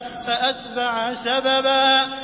فَأَتْبَعَ سَبَبًا